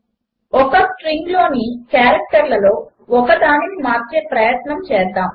ఒక స్ట్రింగ్లోని క్యారెక్టర్లలో ఒకదానిని మార్చే ప్రయత్నము చేద్దాము